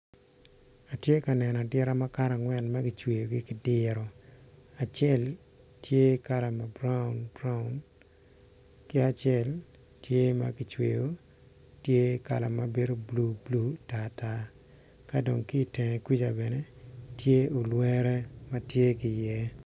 Atye ka neno adita makato angwen magicweyo gi kidiro acel tye kala ma broun broun ki acel tye magicweo tye kala mabedo blue blue tar tar kadong kitenge kuca bene tye olwere matye kiye.